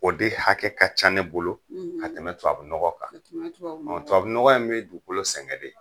O de hakɛ ka ca ne bolo, , a bɛ ka tɛmɛ tubabu nɔgɔ kan. Ka tɛmɛ tubabu nɔgɔ kan. Tubabu nɔgɔ in bɛ dugukolo sɛgɛn de.